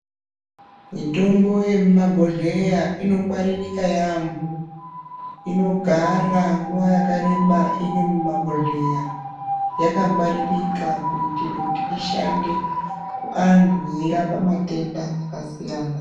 Mitombo yemumabhodhleya inogwaririka yaampho. Inogara nguwa yakareba iri mumabhodhleya yakangwaririka kuitire kuti ishande kuantu yeirape matenda akasiyana.